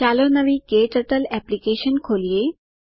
ચાલો નવી ક્ટર્ટલ એપ્લિકેશન ખોલીએ